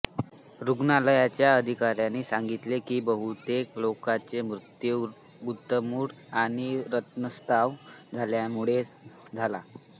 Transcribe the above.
रुग्णालयाच्या अधिकाऱ्यांनी सांगितले की बहुतेक लोकांचे मृत्यू गुदमरुन आणि रक्तस्त्राव झाल्यामुळे झाला